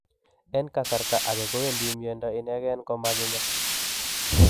En kasarta age kowendi miondo inegen komaginya.